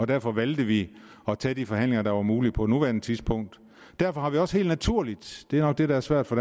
derfor valgte vi at tage de forhandlinger der var mulige på nuværende tidspunkt derfor har vi også helt naturligt det er nok det der er svært for